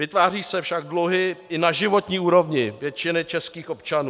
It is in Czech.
Vytvářejí se však dluhy i na životní úrovni většiny českých občanů.